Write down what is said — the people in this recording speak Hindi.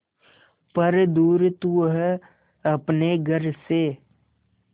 पर दूर तू है अपने घर से